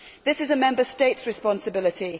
This is a Member State responsibility.